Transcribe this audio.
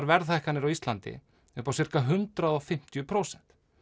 verðhækkanir á Íslandi upp á hundrað og fimmtíu prósent